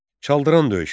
Çaldıran döyüşü.